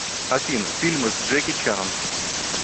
афина фильмы с джеки чаном